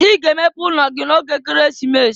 I ga emepe ụlọ gị n'oge Ekeresimesi!